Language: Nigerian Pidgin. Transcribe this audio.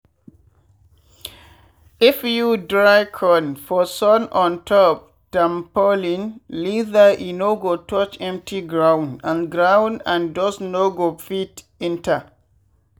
if you dry corn for sun ontop tampolin leather e no go touch empty ground and ground and dust no go fit enter.